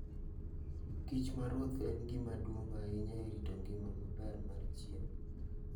kich ma ruoth en gima duong' ahinya e rito ngima maber mar chiemo.